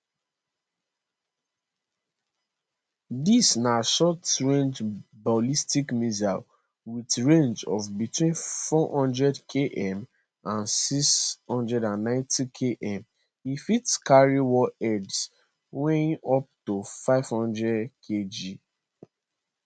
dis na shortrange ballistic missile wit range of between 400km and 690km e fit carry warheads weighing up to 500kg